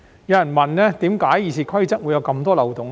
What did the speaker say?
有人問為何《議事規則》會有這麼多漏洞？